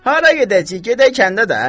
Hara gedəcəyik, gedək kəndə də!